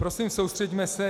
Prosím, soustřeďme se.